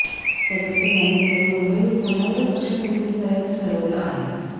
सध्या तरी आम्ही केवळ मुंबई व पुण्यावरच लक्ष केंद्रित करायचं ठरवलं आहे